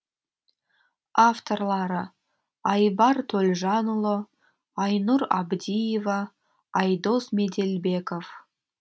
авторлары айбар төлжанұлы айнұр абдиева айдос меделбеков